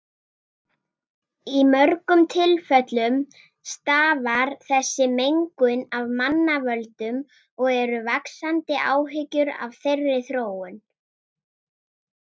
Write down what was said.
Í mörgum tilfellum stafar þessi mengun af mannavöldum og eru vaxandi áhyggjur af þeirri þróun.